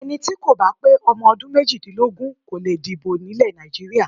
Ẹni tí kò bá pé ọmọ ọdún méjìdínlógún kò le dìbò ní Nàìjíríà.